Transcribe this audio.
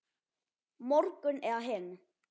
Morgun eða hinn.